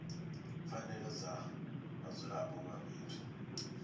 pfanelo dza vhadzulapo vha fhethu